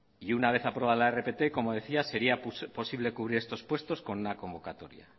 una vez aprobada la rpt como decía sería posible cubrir estos puestos con una convocatoria